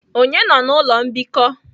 Onye nọ na ụlọ mbikọ?